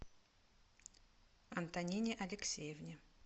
антонине алексеевне